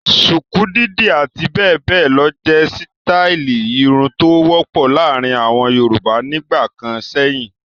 Ṣùkú, dídì àti bẹ́ẹ̀ bẹ́ẹ̀ lọ jẹ́ sítáálì irun tó wọ́pọ̀ láàárin àwọn Yorùbá nígbà kan sẹ́yìn.